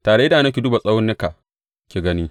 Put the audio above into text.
Ta da idanu ki duba tsaunuka ki gani.